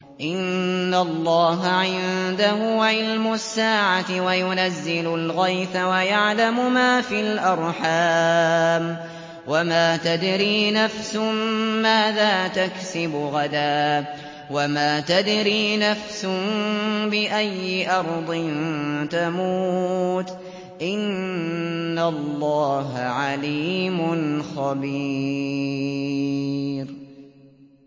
إِنَّ اللَّهَ عِندَهُ عِلْمُ السَّاعَةِ وَيُنَزِّلُ الْغَيْثَ وَيَعْلَمُ مَا فِي الْأَرْحَامِ ۖ وَمَا تَدْرِي نَفْسٌ مَّاذَا تَكْسِبُ غَدًا ۖ وَمَا تَدْرِي نَفْسٌ بِأَيِّ أَرْضٍ تَمُوتُ ۚ إِنَّ اللَّهَ عَلِيمٌ خَبِيرٌ